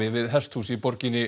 við hesthús í borginni